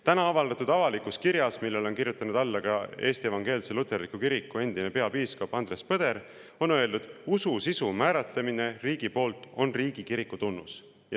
Täna avaldatud avalikus kirjas, millele on alla kirjutanud ka Eesti Evangeelse Luterliku Kiriku endine peapiiskop Andres Põder, on öeldud, et usu sisu määratlemine riigi poolt on riigikiriku tunnus.